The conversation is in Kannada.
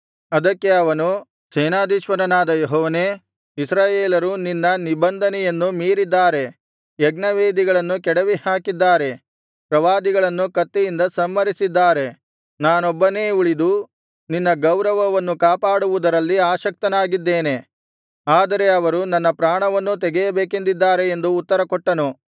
ಅದಕ್ಕೆ ಅವನು ಸೇನಾಧೀಶ್ವರನಾದ ಯೆಹೋವನೇ ಇಸ್ರಾಯೇಲರು ನಿನ್ನ ನಿಬಂಧನೆಯನ್ನು ಮೀರಿದ್ದಾರೆ ಯಜ್ಞವೇದಿಗಳನ್ನು ಕೆಡವಿಹಾಕಿದ್ದಾರೆ ಪ್ರವಾದಿಗಳನ್ನು ಕತ್ತಿಯಿಂದ ಸಂಹರಿಸಿದ್ದಾರೆ ನಾನೊಬ್ಬನೇ ಉಳಿದು ನಿನ್ನ ಗೌರವವನ್ನು ಕಾಪಾಡುವುದರಲ್ಲಿ ಆಸಕ್ತನಾಗಿದ್ದೇನೆ ಆದರೆ ಅವರು ನನ್ನ ಪ್ರಾಣವನ್ನೂ ತೆಗೆಯಬೇಕೆಂದಿದ್ದಾರೆ ಎಂದು ಉತ್ತರಕೊಟ್ಟನು